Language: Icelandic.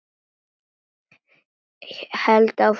Held áfram að þegja.